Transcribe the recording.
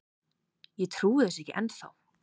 Ég trúi þessu ekki ennþá.